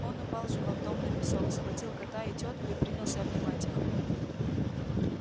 он упал животом на песок схватил кота и тётку и принялся обнимать их